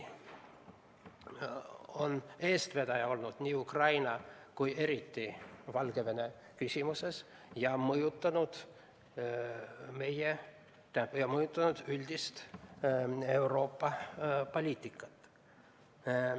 Oleme eestvedaja olnud Ukraina ja eriti Valgevene küsimuses ning mõjutanud üldist Euroopa poliitikat.